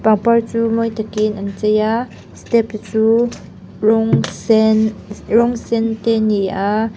a par chu mawi takin an chei a step chu rawng se rawng sen te ni a.